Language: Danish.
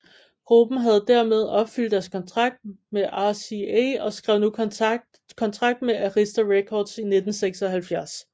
Gruppen havde dermed opfyldt deres kontrakt med RCA og skrev nu kontrakt med Arista Records i 1976